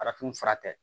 Arafin fura tɛ